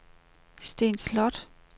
Sten Sloth